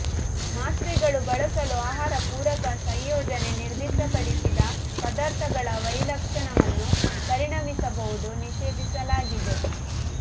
ಮಾತ್ರೆಗಳು ಬಳಸಲು ಆಹಾರ ಪೂರಕ ಸಂಯೋಜನೆ ನಿರ್ದಿಷ್ಟಪಡಿಸಿದ ಪದಾರ್ಥಗಳ ವೈಲಕ್ಷಣ್ಯವನ್ನು ಪರಿಣಮಿಸಬಹುದು ನಿಷೇಧಿಸಲಾಗಿದೆ